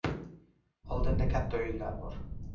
Oldinda katta o‘yinlar bor.